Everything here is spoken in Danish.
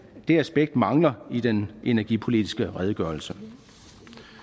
det aspekt mangler i den energipolitiske redegørelse